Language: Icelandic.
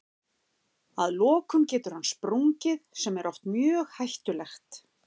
Að lokum getur hann sprungið sem er oft mjög hættulegt.